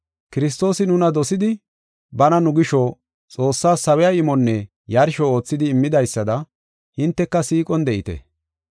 Kiristoosi nuna dosidi bana nu gisho Xoossaas sawiya imonne yarsho oothidi immidaysada hinteka siiqon de7ite.